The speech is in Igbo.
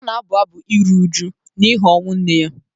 Ọ na-abụ abụ iru uju n’ihi ọnwụ nne ya.